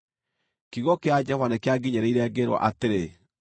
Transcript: Kiugo kĩa Jehova nĩkĩanginyĩrĩire, ngĩĩrwo atĩrĩ: